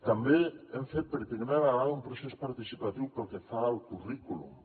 també hem fet per primera vegada un procés participatiu pel que fa al currículum